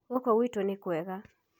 Gũkũ gwitũ nĩ kwega.